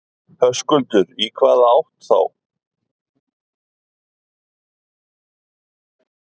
Höskuldur: Í hvaða átt þá?